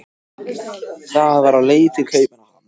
Það var á leið til Kaupmannahafnar.